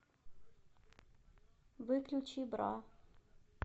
выключи бра